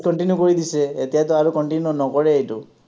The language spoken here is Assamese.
discontinue কৰি দিছে, এতিয়াটো আৰু continue নকৰে এইটো।